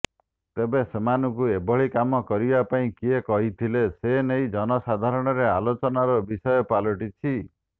ତେବେ ସେମାନଙ୍କୁ ଏଭଳି କାମ କରିବା ପାଇଁ କିଏ କହିଥିଲେ ସେନେଇ ଜନସାଧାରଣରେ ଆଲୋଚନାର ବିଷୟ ପାଲଟିଛି